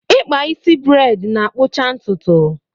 Ịkpa isi breid na-akpụcha ntụtụ